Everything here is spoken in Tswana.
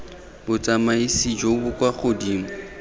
botsamaisi jo bo kwa godimo